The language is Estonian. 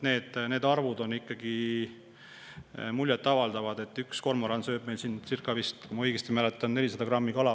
Need arvud on ikkagi muljet avaldavad: üks kormoran võib süüa ööpäevas vist, kui ma õigesti mäletan, circa 400 grammi kala.